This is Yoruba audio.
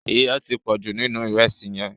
Iyọ̀ ti pọ̀jù nínú ìrẹsì yẹn.